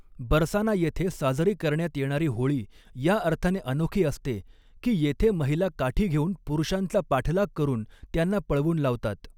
बरसाना येथे साजरी करण्यात येणारी होळी या अर्थाने अनोखी असते की, येथे महिला काठी घेऊन पुरुषांचा पाठलाग करून त्यांना पळवून लावतात.